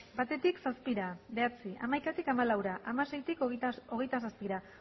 batetik zazpira bederatzi hamaikatik hamalaura hamaseitik hogeita seira